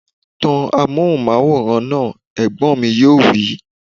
Tan amóhùnmáwòrán náà! Ẹ̀gbọ́n mi yóò wí